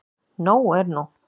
Nóg er nú.